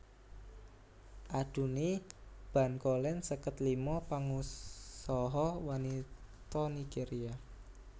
Adunni Bankolen seket lima pangusaha wanita Nigéria